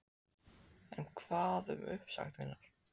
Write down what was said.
En hvað um uppsagnir?